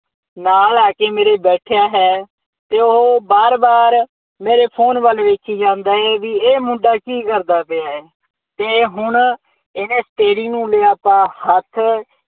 ਨਾਲ ਆ ਕੇ ਮੇਰੇ ਬੈਠਿਆ ਹੈ ਅਤੇ ਉਹ ਵਾਰ ਵਾਰ ਮੇਰੇ ਫੋਨ ਵੱਲ ਵੇਖੀ ਜਾਂਦਾ ਹੈ ਕਿ ਇਹ ਮੁੰਡਾ ਕੀ ਕਰਦਾ ਪਿਆ ਹੈ ਅਤੇ ਹੁਣ ਇਹਨੇ ਸਟੇਅਰਿੰਗ ਨੂੰ ਪਾ ਲਿਆ ਹੱਥ